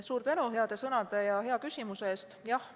Suur tänu heade sõnade ja hea küsimuse eest!